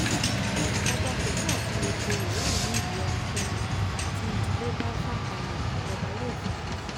ọba kó ṣáà tún lè joyè láàrin ìlú ẹnikẹ́ni tí ìdílé bá fà kalẹ̀ lọ́ba yóò fàṣẹ sí